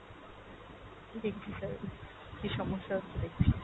দেখছি sir, কী সমস্যা হচ্ছে দেখছি।